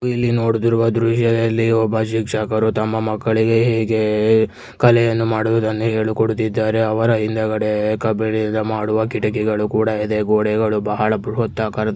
ಇಲ್ಲಿ ನೋಡಿದವರ ದೃಶ್ಯದಲ್ಲಿ ಒಬ್ಬ ಶಿಕ್ಷಕರು ತಮ್ಮ ಮಕ್ಕಳಿಗೆ ಹೇಗೆ ಕಲೆಯನ್ನು ಮಾಡುವುದನ್ನ ಹೇಳ್ಕೊಡ್ತಿದ್ದಾರೆ ಅವರ ಹಿಂದಗಡೆ ಕಬ್ಬಿಣ ಮಾಡಿರುವ ಕಿಟಕಿಗಳು ಕೂಡ ಇದೇ ಗೋಡೆಗಳು ಬಹಳ ಪ್ರೋತ್ಸಾಹಕಾರದಲ್ಲಿ ಇದೆ --